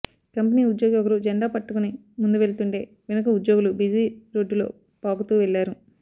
company ఉద్యోగి ఒకరు జెండా పట్టుకొని ముందు వెళ్తుంటే వెనక ఉద్యోగులు బిజీ రోడ్డులో పాకుతూ వెళ్లారు